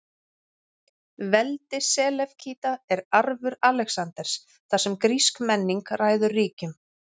Veldi Selevkída er arfur Alexanders, þar sem grísk menning ræður ríkjum.